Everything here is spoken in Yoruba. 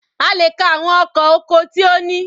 A lè ka àwọn ọkọ̀ oko tí ó ní.